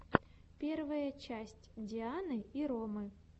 первая часть дианы и ромы